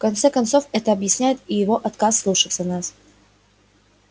в конце концов это объясняет и его отказ слушаться нас